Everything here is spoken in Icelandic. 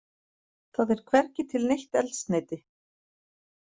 Það er hvergi til neitt eldsneyti